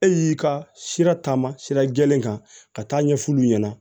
E y'i ka sira taama sira jɛlen kan ka taa ɲɛ f'olu ɲɛna